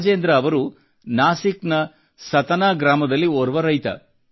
ರಾಜೇಂದ್ರ ಅವರು ನಾಸಿಕ್ ನ ಸತನಾ ಗ್ರಾಮದಲ್ಲಿ ಓರ್ವ ರೈತ